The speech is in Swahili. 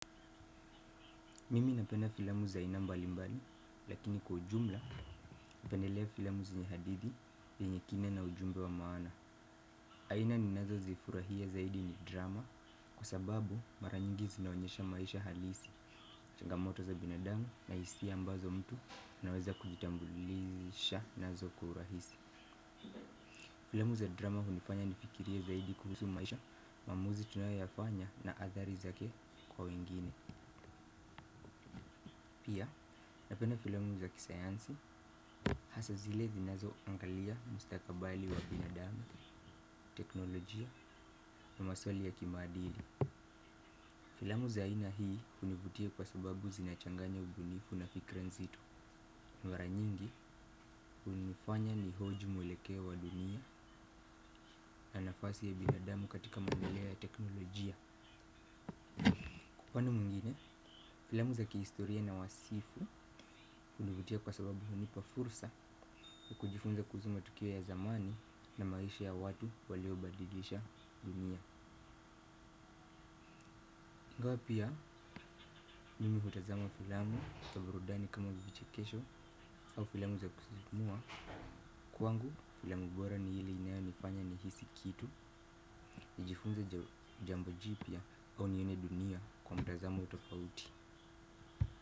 Mimi napena filamu za aina mbali mbali lakini kujumla napendelea filamu zenye hadithi yenye kina na ujumbe wa maana. Aina ni nazo zifurahia zaidi ni drama kwa sababu mara nyingi zinaonyesha maisha halisi. Changamoto za binadamu na hisia ambazo mtu naweza kujitambulisha nazo kwa urahisi. Filamu za drama hunifanya nifikirie zaidi kuhusu maisha maamuzi tunayoyafanya na athari zake kwa wengine. Pia, napena filamu za kisayansi hasa zile zinazo angalia mustakabali wa binadamu, teknolojia na maswali ya kimadili. Filamu za ina hii univutia kwa sababu zinachanganya ubunifu na fikra nzito mara nyingi hunifanya nihoji mwelekeo wa dunia na nafasi ya binadamu katika maendeleo ya teknolojia. Upande mwengine, filamu za kihistoria na wasifu hunivutia kwa sababu unipa fursa kujifunza kuhusu matukio ya zamani na maisha ya watu walio badilisha dunia. Ingawa pia mimi hutazama filamu, za burudani kama vichekesho au filamu za kusisimua. Kwangu filamu bora ni ile inayonifanya ni hisi kitu. Nijifunze jambo jipia au nione dunia kwa mtazamo tofauti.